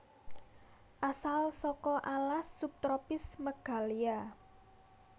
Asal saka alas subtropis Meghalya